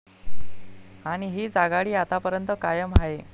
आणि हीच आघाडी आतापर्यंत कायम आहे.